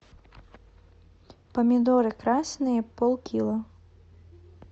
помидоры красные полкило